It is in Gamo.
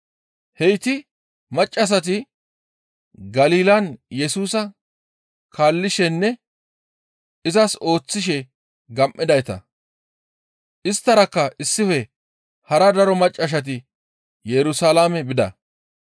Heyti maccassati Galilan Yesusa kaallishenne izas ooththishe gam7idayta. Isttarakka issife hara daro maccassati Yerusalaame bida.